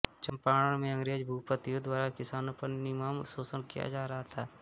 चम्पारण में अंग्रेज भूमिपतियों द्वारा किसानों पर निर्मम शोषण किया जा रहा था